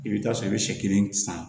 I bɛ taa sɔrɔ i bɛ sɛ kelen san